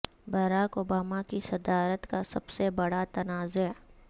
Barack Obama کی صدارت کا سب سے بڑا تنازعہ